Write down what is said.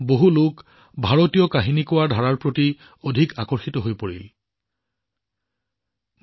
মানুহে ভাৰতীয় কাহিনী কথনৰ ধাৰাৰ প্ৰতি আকৰ্ষিত হবলৈ আৰম্ভ কৰিছিল